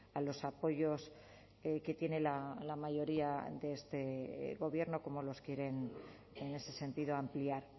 a los apoyos que tiene la mayoría de este gobierno cómo los quieren en ese sentido ampliar